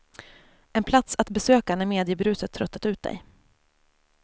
En plats att besöka när mediebruset tröttat ut dig.